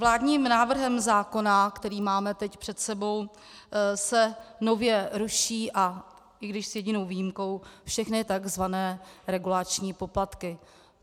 Vládním návrhem zákona, který máme teď před sebou, se nově ruší, i když s jedinou výjimkou, všechny tzv. regulační poplatky.